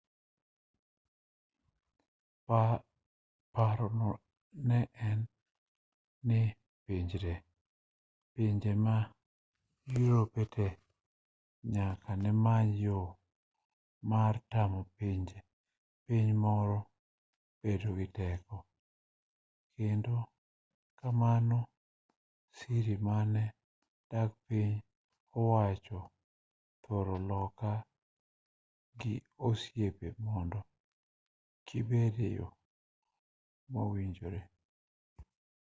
parono ne en ni pinje ma europete nyaka nemany yo mar tamo piny moro bedo gi teko kendo kamano sirikande mag piny owacho thoro loko ga osiepe mond kibed eyo mowinjore